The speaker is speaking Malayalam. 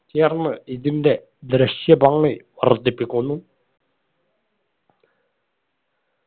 ചേർന്ന് ഇതിന്റെ ദൃശ്യ ഭംഗി വര്ധിപ്പിക്കുന്നു